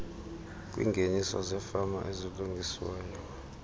kwiingeniso zefama ezilungisiweyo